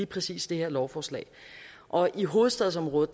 præcis det her lovforslag og i hovedstadsområdet